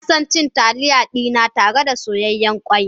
Ina son cin Taliya dina tare da soyayyen ƙwai.